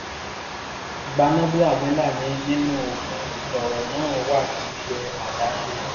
gbanábíàmílà ni nínú òfin lọ̀rọ̀ náà wà kì í ṣe àdáṣe